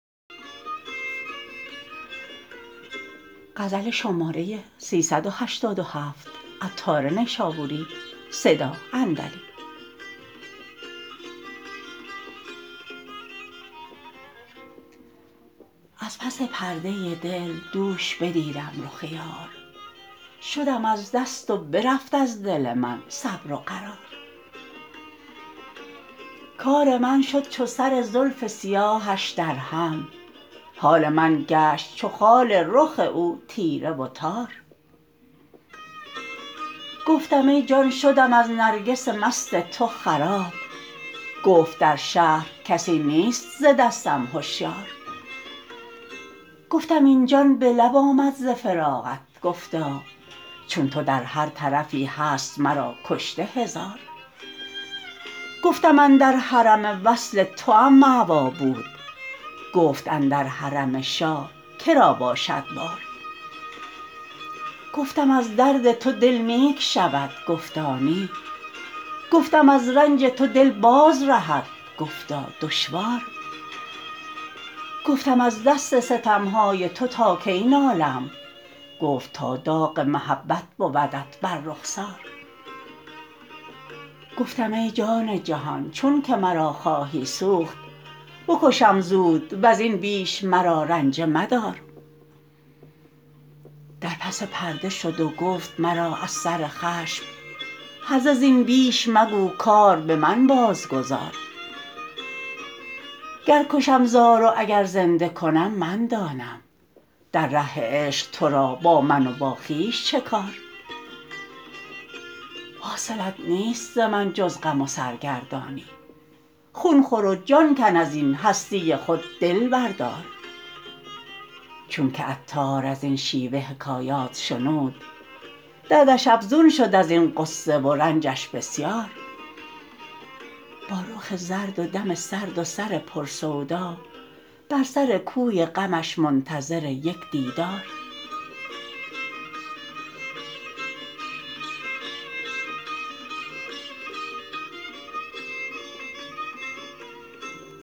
از پس پرده دل دوش بدیدم رخ یار شدم از دست و برفت از دل من صبر و قرار کار من شد چو سر زلف سیاهش درهم حال من گشت چو خال رخ او تیره و تار گفتم ای جان شدم از نرگس مست تو خراب گفت در شهر کسی نیست ز دستم هشیار گفتم این جان به لب آمد ز فراقت گفتا چون تو در هر طرفی هست مرا کشته هزار گفتم اندر حرم وصل توام مأوی بود گفت اندر حرم شاه که را باشد بار گفتم از درد تو دل نیک شود گفتا نی گفتم از رنج رهد باز بگفتا دشوار گفتم از دست ستم های تو تا کی نالم گفت تا داغ محبت بودت بر رخسار گفتم ای جان جهان چون که مرا خواهی سوخت بکشم زود وزین بیش مرا رنجه مدار در پس پرده شد و گفت مرا از سر خشم هرزه زین بیش مگو کار به من بازگذار گر کشم زار و اگر زنده کنم من دانم در ره عشق تو را با من و با خویش چه کار حاصلت نیست ز من جز غم و سرگردانی خون خور و جان کن ازین هستی خود دل بردار چون که عطار ازین شیوه حکایات شنود دردش افزون شد ازین غصه و رنجش بسیار با رخ زرد و دم سرد و سر پر سودا بر سر کوی غمش منتظر یک دیدار